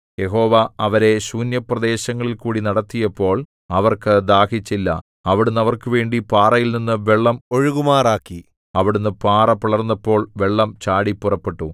യഹോവ അവരെ ശൂന്യപ്രദേശങ്ങളിൽകൂടി നടത്തിയപ്പോൾ അവർക്ക് ദാഹിച്ചില്ല അവിടുന്ന് അവർക്കുവേണ്ടി പാറയിൽനിന്നു വെള്ളം ഒഴുകുമാറാക്കി അവിടുന്ന് പാറ പിളർന്നപ്പോൾ വെള്ളം ചാടി പുറപ്പെട്ടു